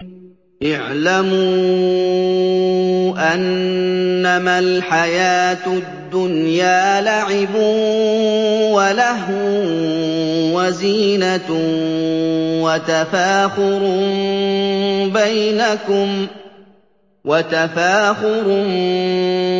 اعْلَمُوا أَنَّمَا الْحَيَاةُ الدُّنْيَا لَعِبٌ وَلَهْوٌ وَزِينَةٌ وَتَفَاخُرٌ